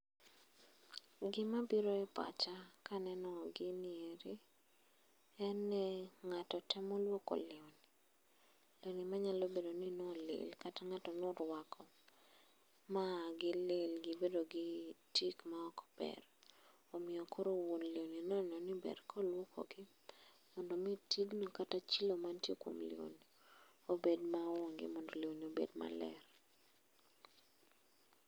Gima biro e pacha kaneno gini eri, en ni ng'ato temo luoko lewni. Lewni manyalo bedo ni nolil kata ng'ato norwako ma gilil gibedo gi tik ma ok ber. Omiyo koro wuon lewni noneno ni ber koluokogi, mondo mi tigno kata chilo mantie kuom lewni, obed maonge mondo lewni obed maler.